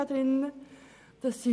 Natürlich dürfen sie das tun.